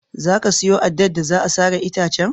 Za ka siyo addar da za a sare itacen?